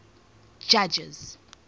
judges